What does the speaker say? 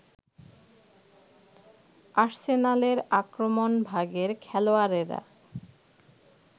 আর্সেনালের আক্রমণভাগের খেলোয়াড়েরা